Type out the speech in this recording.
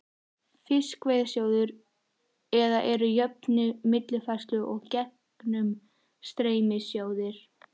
Fiskveiðasjóður, eða eru jöfnunar-, millifærslu- og gegnumstreymissjóðir.